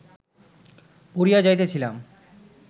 পড়িয়া যাইতেছিলাম